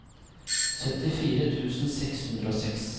syttifire tusen seks hundre og seks